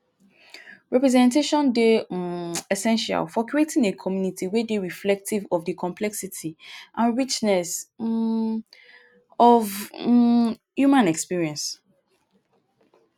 representation dey um essential for creating a community wey dey reflective of di complexity and richness um of um human experience.